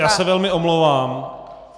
Já se velmi omlouvám.